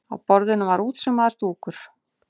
Á borðinu var útsaumaður dúkur.